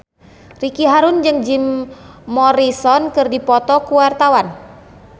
Ricky Harun jeung Jim Morrison keur dipoto ku wartawan